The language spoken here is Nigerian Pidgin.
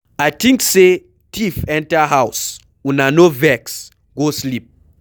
I think say thief enter our house, Una no vex, go sleep.